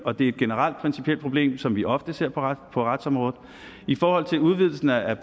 og det er et generelt principielt problem som vi ofte ser på retsområdet i forhold til udvidelsen af